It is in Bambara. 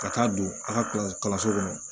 Ka taa don a ka kalanso kɔnɔ